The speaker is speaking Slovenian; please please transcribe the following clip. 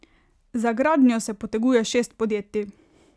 Za gradnjo se poteguje šest podjetij.